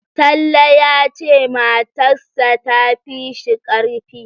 Talle ya ce matarss ta fi shi ƙarfi